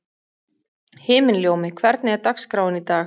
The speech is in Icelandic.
Himinljómi, hvernig er dagskráin í dag?